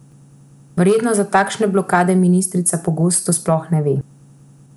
Verjetno za takšne blokade ministrica pogosto sploh ne ve.